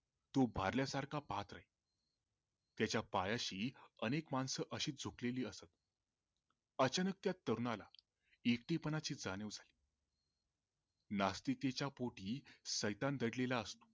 तो भारल्या सारखा पाहत राही त्याच्या पायाशी अनेक माणसं अशी झुकालेली असत अचानक त्या तरुणाला एकटेपणाची जाणीव झाली नास्तिकतेच्या पोटी सैतान दडलेला असतो